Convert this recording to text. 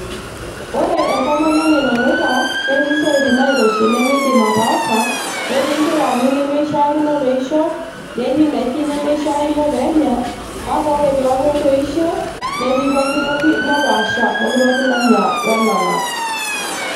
ore entomononi nanuta netii isiatin nairoshi nemeidim ataasa netii inkilani nemeishakino peishop netii indaikin nemeishakino peenya kake ore peeku etoishe netii pokitoki nepaasha pokitoki nanya enanap.